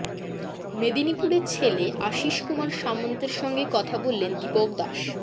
মেদিনীপুরের ছেলে আশিসকুমার সামন্তের সঙ্গে কথা বললেন দীপক দাস